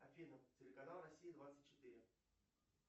афина телеканал россия двадцать четыре